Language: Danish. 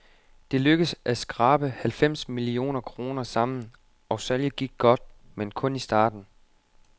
Det lykkedes at skrabe halvfems millioner kroner sammen, og salget gik godt, men kun i starten.